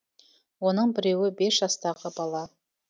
оның біреуі бес жастағы бала